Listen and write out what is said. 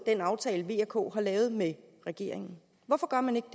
den aftale v og k har lavet med regeringen